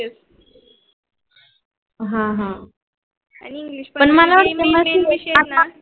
आणि main main विषय